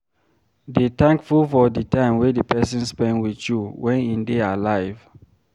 Dey thankful for the time wey di person spend with you when im dey alive